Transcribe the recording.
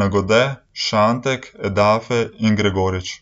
Nagode, Šantek, Edafe in Gregorič.